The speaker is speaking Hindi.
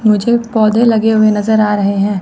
मुझे पौधे लगे हुए नजर आ रहे हैं।